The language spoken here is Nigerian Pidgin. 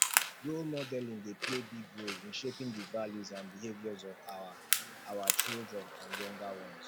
role modeling dey play big role in shaping di values and behaviors of our our children and younger ones